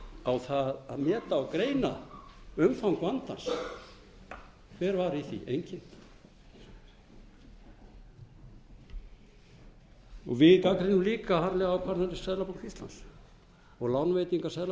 því að meta og greina umfang vandans hver var í því enginn við gagnrýnum líka harðlega ákvarðanir seðlabanka íslands og lánveitingar